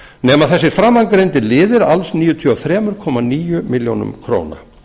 nema þessir framangreindu liðir alls um níutíu og þrjú komma níu milljónir króna